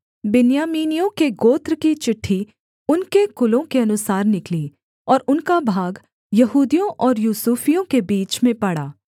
बिन्यामीनियों के गोत्र की चिट्ठी उनके कुलों के अनुसार निकली और उनका भाग यहूदियों और यूसुफियों के बीच में पड़ा